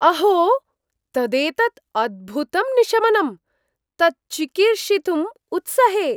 अहो, तदेतद् अद्भुतं निशमनम्। तत् चिकीर्षितुम् उत्सहे।